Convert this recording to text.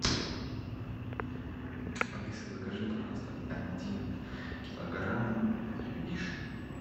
алиса закажи пожалуйста один килограмм вишни